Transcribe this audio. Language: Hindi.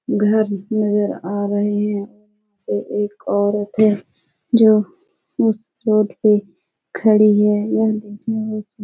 घर नजर आ रहे हैं ए एक औरत है जो उस रोड पे खड़ी है यह देखने में --